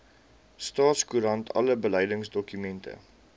staatskoerant alle beleidsdokumente